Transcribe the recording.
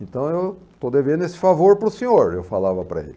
Então eu estou devendo esse favor para o senhor, eu falava para ele.